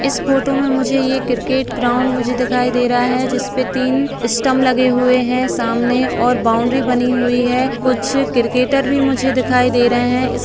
इस फोटो में मुझे ये क्रिकेट ग्राउंड मुझे दिखाई दे रहा है जिसपे तीन स्टंप लगे हुए हैं सामने और बॉउंड्री बनी हुई है| कुछ क्रिकेटर भी मुझे दिखाई दे रहे हैं | इस --